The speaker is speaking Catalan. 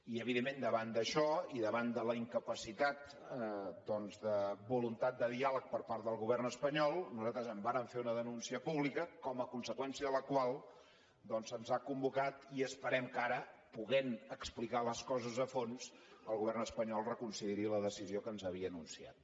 i evidentment davant d’això i davant de la incapacitat de voluntat de diàleg per part del govern espanyol nosaltres en vàrem fer una denúncia pública com a conseqüència de la qual se’ns ha convocat i esperem que ara podent explicar les coses a fons el govern espanyol reconsideri la decisió que ens havia anunciat